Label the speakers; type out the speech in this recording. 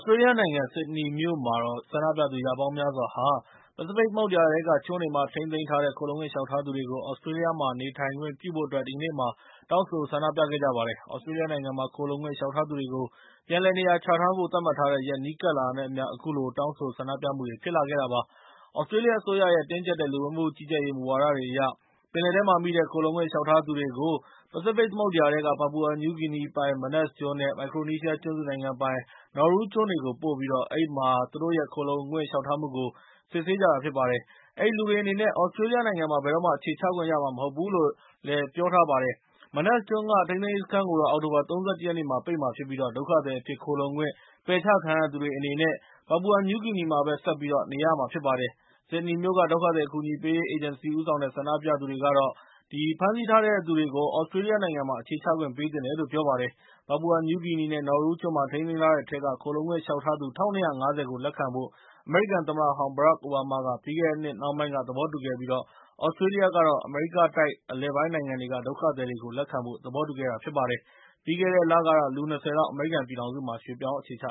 Speaker 1: စတြေးလျနိုင်ငံ ဆစ်ဒနီမြို့မှာတော့ ဆန္ဒပြသူ ရာပေါင်းများစွာက ပစိဖိတ်သမုဒ္ဒရာထဲက ကျွန်းတွေမှာ ထိန်းသိမ်းထားတဲ့ ခိုလှုံ့ခွင့်လျှောက်ထားသူတွေကို သြစတြေးလျနိုင်ငံမှာ နေခွင့်ပြုဖို့အတွက် ဒီကနေ့ တောင်းဆိုဆန္ဒပြခဲ့ကြပါတယ်။ သြစတြေးလျနိုင်ငံမှာ ခိုလှုံခွင့်လျှောက်ထားသူတွေကို ပြန်လည်နေရာချထားဖို့ သတ်မှတ်ထားတဲ့ရက်နီးကပ်လာတာနဲ့ အမျှ၊ အခုလို တောင်းဆိုဆန္ဒပြခဲ့ကြတာဖြစ်ပါတယ်။ သြစတြေးလျအစိုးရရဲ့ တင်းကြပ်တဲ့ လူဝင်မှုကြီးကြပ်ရေးမူဝါဒတွေအရ၊ ပင်လယ်ထဲမှာမိတဲ့ ခိုလှုံခွင့်လျှောက်ထားသူတွေကို ပစိဖိတ်သမုဒ္ဒရာထဲက Papua New Guinea ပိုင် Manus ကျွန်း နဲ့ မိုက်ခရိုနီးရှားကျွန်းစုနိုင်ငံပိုင် Nauru ကျွန်းတွေကို ပို့ပြီး အဲဒီမှာ သူတို့ရဲ့ခိုလှုံခွင့်လျှောက်ထားမှုကို စစ်ဆေးနေတာဖြစ်ပါတယ် အဲဒီလူတွေအနေနဲ့ သြစတြေးလျနိုင်ငံမှာ ဘယ်တော့မှာ အခြေချခွင့်ရမှာမဟုတ်ဘူးလို့လည်း ပြောပါတယ်။ Manus ကျွန်းက ထိန်းသိမ်းရေးစခန်းကိုတော့ အောက်တိုဘာ ၃၁ ရက်နေ့မှာ ပိတ်မှာဖြစ်ပြီး ဒုက္ခသည်အဖြစ်ခိုလှုံခွင့် ပယ်ချခံရတဲ့သူတွေ အနေနဲ့ Papua New Guinea မှာပဲ နေရမှာဖြစ်ပါတယ်။ ဆစ်ဒနီမြို့က ဒုက္ခသည်အကူအညီပေးရေးအေဂျင်စီဦးဆောင်တဲ့ ဆန္ဒပြသူတွေ ကတော့ - ဖမ်းဆီးထားတဲ့သူတွေကို သြစတြေးလျနိုင်ငံမှာ အခြေချခွင့်ပေးသင့်တယ်လို့ ပြောပါတယ်။Papua New Guinea နဲ့ Nauru ကျွန်းမှာထိန်းသိမ်းထားတဲ့အထဲက ခိုလှုံခွင့်လျှောက်ထားသူ ၁၂၅၀ ကို လက်ခံဖို့ အမေရိကန်သမ္မတဟောင်း ဘရက်ခ်အိုဘားမားက ပြီးခဲ့တဲ့နှစ်နှောင်းပိုင်းက သဘောတူခဲ့ပြီး၊ သြစတြေးလျကတော့ အမေရိကတိုက်အလယ်ပိုင်းနိုင်ငံတွေကဒုက္ခသည်တွေကို လက်ခံဖို့ သဘောတူခဲ့ပါတယ်။ ပြီးခဲ့တဲ့လကတော့ လူ ၂၀ လောက် အမေရိကန်ပြည်ထောင်စုမှာ ရွှေ့ပြောင်းအခြေချ